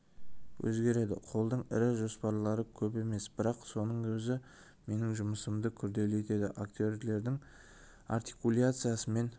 өзгереді қолдың ірі жоспарлары көп емес бірақ соның өзі менің жұмысымды күрделі етеді актердің артикуляциясымен